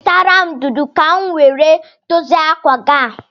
Nwetere m ntutu ka m nwere a dozie akwa gi a